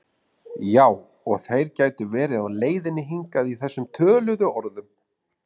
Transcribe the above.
Já og þeir gætu verið á leiðinni hingað í þessum töluðu orðum